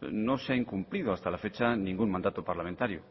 no se ha incumplido hasta la fecha ningún mandato parlamentario